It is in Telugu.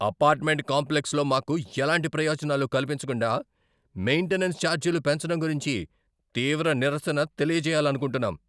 అపార్ట్మెంట్ కాంప్లెక్స్లో మాకు ఎలాంటి ప్రయోజనాలు కల్పించకుండా మెయింటెనెన్స్ ఛార్జీలు పెంచడం గురించి తీవ్ర నిరసన తెలియచేయాలనుకుంటున్నాం.